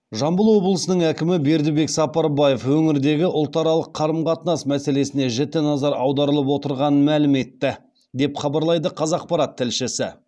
жамбыл обылысының әкімі бердібек сапарбаев өңірдегі ұлтаралық қарым қатынас мәселесіне жіті назар аударылып отырғанын мәлім етті деп хабарлайды қазақпарат тілшісі